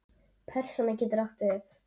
Persóna getur átt við